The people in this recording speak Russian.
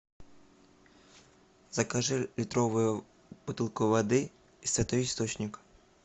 закажи литровую бутылку воды святой источник